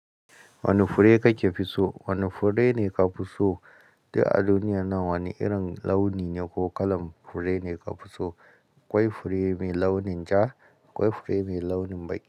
Wane fure kake fi so? Wane fure ne ka fi so duk a duniyar nan? Wane irin launi ne ko kalan fure ne ka fi so? A kwai fure mai launin ja, a kwai fure mai launin baƙi.